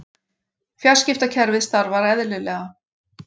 Fjarskiptakerfið starfar eðlilega